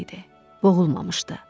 Boğulmamışdı.